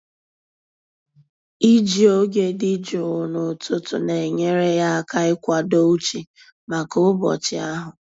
Iji oge dị jụụ n'ụtụtụ na-enyere ya aka ịkwado uche maka ụbọchị ahụ.